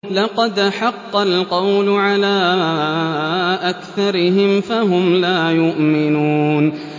لَقَدْ حَقَّ الْقَوْلُ عَلَىٰ أَكْثَرِهِمْ فَهُمْ لَا يُؤْمِنُونَ